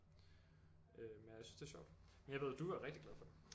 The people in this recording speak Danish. Øh men jeg synes det er sjovt men jeg ved du er rigtig glad for det